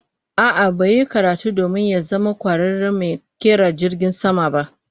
A'a, ba ya yi karatu domin ya zama kwararen mai kera jirgin sama ba